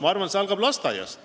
Ma arvan, et see algab lasteaiast.